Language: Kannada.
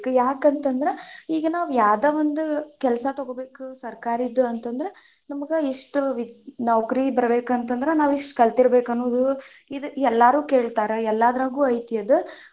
ಯಾಕಂತಂದ್ರ ಈಗ ನಾವ್ ಯಾವ್ದ ಒಂದ್ ಕೆಲ್ಸಾ ತೊಗೋಬೇಕ್ ಸರ್ಕಾರಿದ್ದು ಅಂತಂದ್ರ, ನಮಗ ಇಷ್ಟು ನೌಕರಿ ಬರಬೇಕ ಅಂತಂದ್ರ, ನಾವಿಷ್ಟ್ ಕಲತಿರ್ಬೇಕ್ ಅನ್ನೊದು ಇದು ಎಲ್ಲರೂ ಕೇಳ್ತಾರ ಎಲ್ಲಾದ್ರಗೂ ಐತಿ ಅದ್.